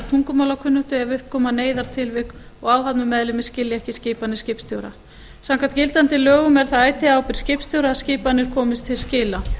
tungumálakunnáttu ef upp koma neyðartilvik og áhafnarmeðlimir skilja ekki skipanir skipstjóra samkvæmt gildandi lögum er það ætíð á ábyrgð skipstjóra að skipanir komist til skila